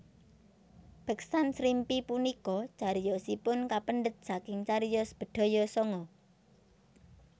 Beksan Srimpi punika cariyosipun kapendhet saking cariyos Bedhaya Sanga